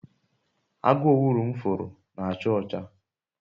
agu owulu m furu na acha ocha